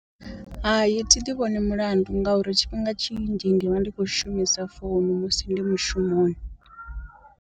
Hai thi ḓi vhoni mulandu ngauri tshifhinga tshinzhi ndi vha ndi khou shumisa founu musi ndi mushumoni.